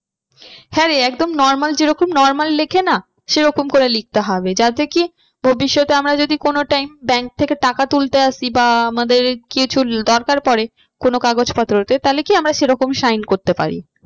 হ্যাঁ রে একদম normal যেরকম normal লেখে না সেরকম করে লিখতে হবে যাতে কি ভবিষ্যতে আমরা যদি কোনো time bank থেকে টাকা তুলতে আসি বা আমাদের কিছু দরকার পরে কোনো কাগজ পত্রতে তাহলে কি আমরা সেরকম sign করতে পারি।